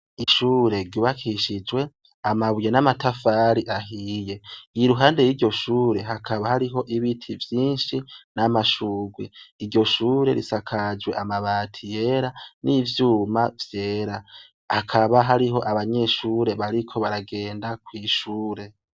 Ishure ryubakishijwe, amabuye n'amatafari ahiye. Iruhande y'iryo shure, hakaba hariho ibiti vyinshi, n'amashurwe. Iryo shure risakaje amabati yera, n'ivyuma vyera. Hakaba hariho abanyeshure bariko baragenda kw'ishure.